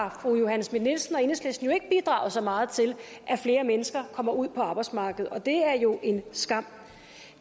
har fru johanne schmidt nielsen og enhedslisten ikke bidraget så meget til at flere mennesker kommer ud på arbejdsmarkedet og det er jo en skam